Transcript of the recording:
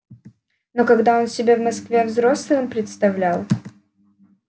но когда он себя в москве взрослым представлял